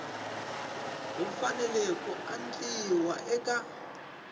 ku fanele ku endliwa eka